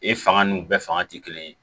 E fanga n'u bɛɛ fanga tɛ kelen ye